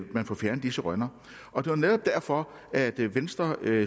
man får fjernet disse rønner og det var netop derfor at venstre